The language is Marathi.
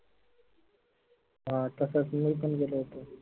हं तसेच मी पन गेलो होतो.